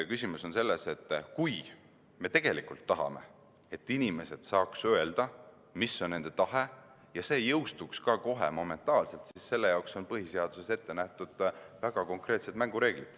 Küsimus on pigem selles, et kui me tegelikult tahame, et inimesed saaksid öelda, mis on nende tahe, ja et see kohe ka seadusena jõustuks, siis selle kohta on põhiseaduses ette nähtud väga konkreetsed mängureeglid.